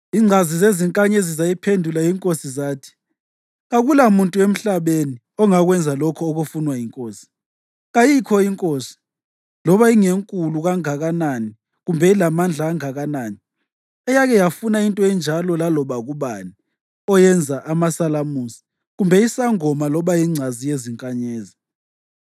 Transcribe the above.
Ingcazi zezinkanyezi zayiphendula inkosi zathi, “Kakulamuntu emhlabeni ongakwenza lokho okufunwa yinkosi! Kayikho inkosi, loba ingenkulu kanganani kumbe ilamandla anganani, eyake yafuna into enjalo laloba kubani oyenza amasalamusi, kumbe isangoma loba ingcazi yezinkanyezi.